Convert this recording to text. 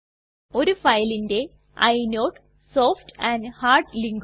ഒരു ഫയലിന്റെ ഇനോട് സോഫ്റ്റ് ആൻഡ് ഹാർഡ് linkകൾ